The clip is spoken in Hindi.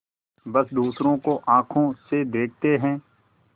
बस दूसरों को आँखों से देखते हैं